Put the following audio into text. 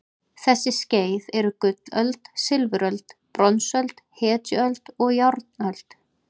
Þessi skeið eru gullöld, silfuröld, bronsöld, hetjuöld og járnöld.